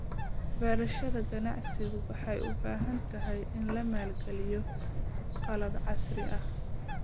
Beerashada ganacsigu waxay u baahan tahay in la maalgeliyo qalab casri ah.